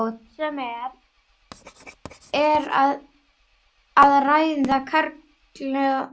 hvort sem um er að ræða karla eða konur.